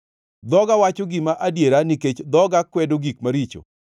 Dhoga wacho gima adiera nikech dhoga kwedo gik maricho.